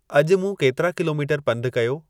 अॼुु मूं केतिरा किलोमीटर पंधु कयो